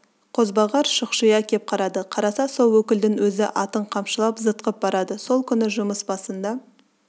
қозбағар шұқшия кеп қарады қараса сол өкілдің өзі атын қамшылап зытқып барады сол күні жұмыс басында